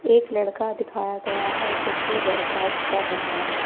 एक लड़का दिखाया गया है जो कि वर्कआउट कर रहा है।